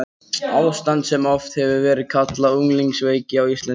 Ástand sem oft hefur verið kallað unglingaveiki á íslensku.